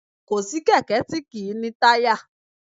Kò sí kẹ̀kẹ́ tí kì í ní táyà